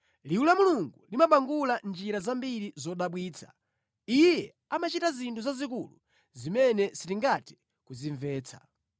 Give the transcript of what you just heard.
Liwu la Mulungu limabangula mʼnjira zambiri zodabwitsa Iye amachita zinthu zazikulu zimene sitingathe kuzimvetsa.